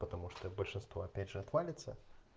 потому что и большинство опять же отвалится